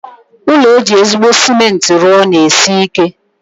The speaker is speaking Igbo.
Ụlọ eji ezigbo cement rụọ na-esi ike.